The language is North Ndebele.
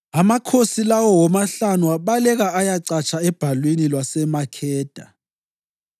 Amakhosi lawo womahlanu abaleka ayacatsha ebhalwini lwaseMakheda.